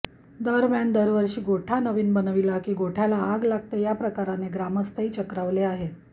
दरम्यान दरवर्षी गोठा नवीन बनविला की गोठ्याला आग लागते या प्रकाराने ग्रामस्थही चक्रावले आहेत